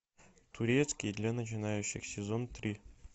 турецкий для начинающих сезон три